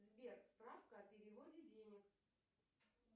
сбер справка о переводе денег